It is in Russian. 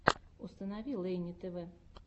установи лейни тв